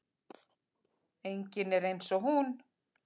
Enginn er eins og hún.